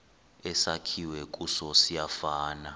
esakhiwe kuso siyafana